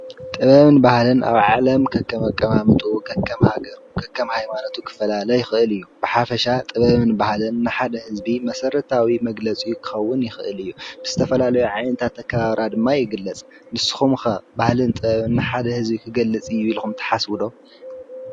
ጥበብን ባህልን ኣብ ዓለም ከከም ኣቀማምጣኡ፣ ከከም ሃገሩ፣ ከከም ሃይማኖቱ፣ ክፈላለ ይኽእል እዩ። ብሓፈሻ ጥበብን ባህልን ንሓደ ህዝቢ መሰረታዊ መግለፂኡ ክኸዉን ይኽእል እዩ። ብዝተፈላለየ ዓይነታት ኣከባብራ ድማ ይግለፅ። ንስኹም ኸ ባህልን ጥበብን ንሓደ ህዝቢ ክገልፅ እዩ ኢልኹም ትሓስቡ ዶ ?